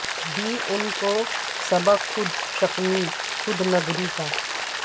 دی ان کو سبق خود شکنی خود نگر ی کا